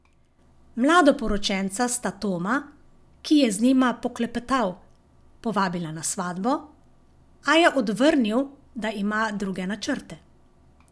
Mladoporočenca sta Toma, ki je z njima poklepetal, povabila na svatbo, a je odvrnil, da ima druge načrte.